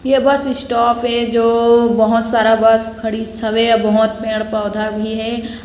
यह bus stop है जो बहुत सारा बस खडिस हवै बहुत पेड़ पौधे भी हे ।